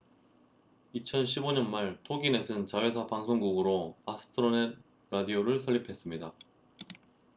2015년 말 toginet은 자회사 방송국으로 astronet radio를 설립했습니다